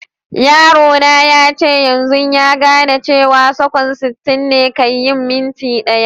Yaro na yace yanzun ya gane cewa sakanni sitin ne kai yin minti daya.